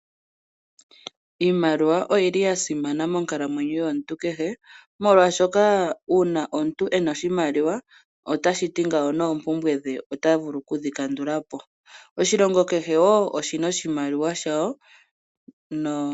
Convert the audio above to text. Iimaliwa oyili yasimana monkalamwenyo yomuntu kehe molwashoka una omuntu ena oshimaliwa otashiti ngawo nepumbwe dhe otavulu okudhi kandulapo, oshilongo kehe wo oshina oshimaliwa shawo.